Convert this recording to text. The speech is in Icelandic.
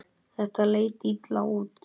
Þetta leit illa út.